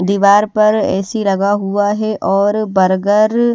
दीवार पर ऐसी लगा हुआ है और बर्गर --